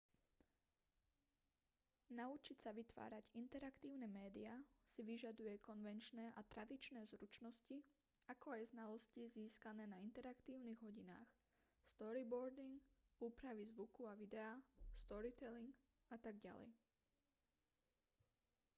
naučiť sa vytvárať interaktívne médiá si vyžaduje konvenčné a tradičné zručnosti ako aj znalosti získané na interaktívnych hodinách storyboarding úpravy zvuku a videa storytelling atď.